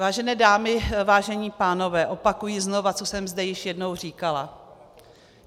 Vážené dámy, vážení pánové, opakuji znovu, co jsem zde již jednou říkala.